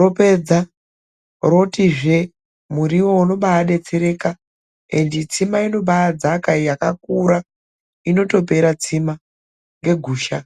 ropedza rotizve muriwo unombaadetsereka netsima inombaidzaka yakakura inotopera tsima ngegusha.